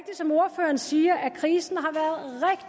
som ordføreren siger at krisen